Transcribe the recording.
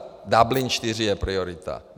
Dublin IV je priorita.